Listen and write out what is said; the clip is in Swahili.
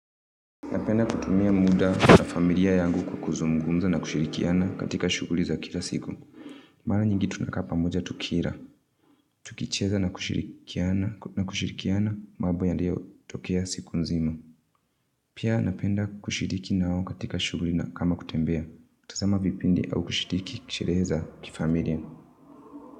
Napenda kutumia muda na familia yangu kwa kuzungumza na kushirikiana katika shughuli za kila siku. Mara nyingi tunaka pamoja tukila. Tukicheza na kushirikiana mambo yaliyo tokea siku nzima. Pia napenda kushiriki nao katika shughuli kama kutembea. Tazama vipindi au kushiriki kishereheb za kifamilia.